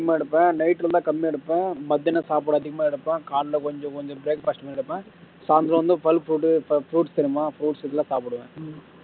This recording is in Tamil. அதிகமா எடுப்பேன் night வந்தா கம்மியா எடுப்பேன் மத்தியானம் சாப்பாடு அதிகமா எடுப்பேன் காலையில கொஞ்சம் கொஞ்சம் breakfast உம் எடுப்பேன் சாயந்தாம் வந்து fruits தெரியுமா fruits எல்லாம் சாப்பிடுவேன்